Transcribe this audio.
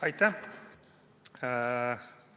Aitäh!